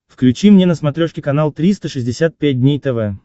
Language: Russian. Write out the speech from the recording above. включи мне на смотрешке канал триста шестьдесят пять дней тв